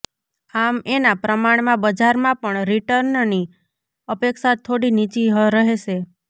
આમ એના પ્રમાણમાં બજારમાં પણ રિટર્નની અપેક્ષા થોડી નીચી રહેશે